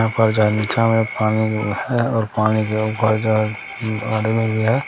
यहाँ पर जा निचा मे पानी भी है और पानी के ऊपर जा आदमी भी है।